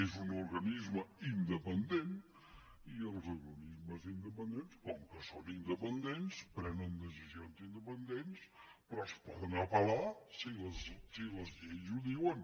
és un organisme independent i els organismes independents com que són independents prenen decisions independents però es poden apel·lar si les lleis ho diuen